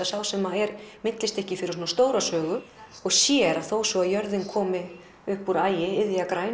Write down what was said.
sá sem er millistykki fyrir svona stóra sögu og sér að þó svo að jörðin komi upp úr ægi